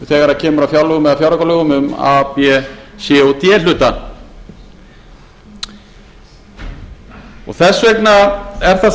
þegar kemur að fjárlögum eða fjáraukalögum um a b c og d hluta og þess vegna er það